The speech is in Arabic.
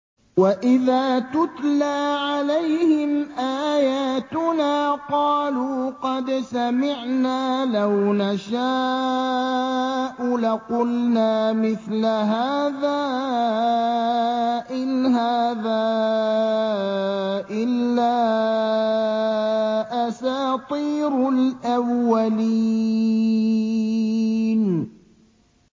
وَإِذَا تُتْلَىٰ عَلَيْهِمْ آيَاتُنَا قَالُوا قَدْ سَمِعْنَا لَوْ نَشَاءُ لَقُلْنَا مِثْلَ هَٰذَا ۙ إِنْ هَٰذَا إِلَّا أَسَاطِيرُ الْأَوَّلِينَ